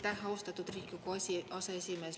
Aitäh, austatud Riigikogu aseesimees!